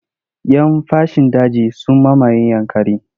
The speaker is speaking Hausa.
Yan fashin daji sun mamaye Yankari.